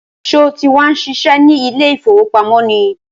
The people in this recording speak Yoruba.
Sọ ti wá ń ṣiṣẹ́ ní ilé ìfowópamọ́ ni?